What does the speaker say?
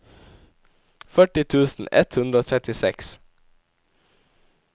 førti tusen ett hundre og trettiseks